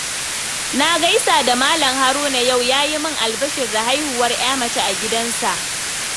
Na gaisa da Malam Haruna yau, ya yi min albishir da haihuwar ‘ya mace a gidansu.